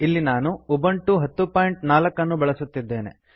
ಇಲ್ಲಿ ನಾನು ಉಬುಂಟು 1004 ಅನ್ನು ಬಳಸುತ್ತಿದ್ದೇನೆ